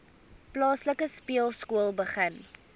plaaslike speelskool begin